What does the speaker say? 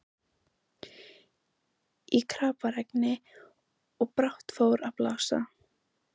Í kraparegni, og brátt fór að blása.